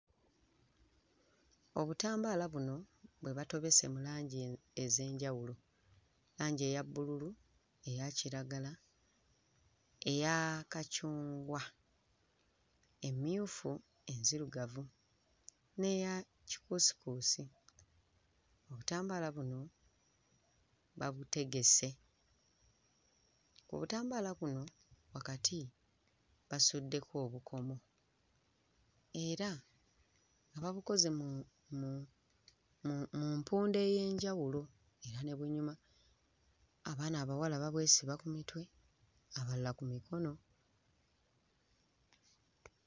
Obutambalo buno bwe batobese mu langi ez'enjawulo, langi eya bbululu eya kiragala, eya kacungwa, emmyufu, enzirugavu n'eya kikuusikuusi. Obutambala buno babutegese. Obutambala buno wakati basuddeko obukomo era nga babukoze mu mu mu mu mpunda ey'enjawulo era ne bunyuma; abaana abawala babwesiba ku mitwe, abalala ku mikono.